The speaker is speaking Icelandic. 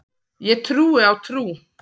Ég trúi á trú.